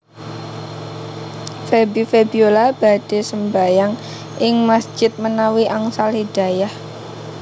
Feby Febiola badhe sembahyang ing masjid menawi angsal hidayah